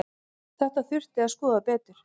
Þetta þurfi að skoða betur.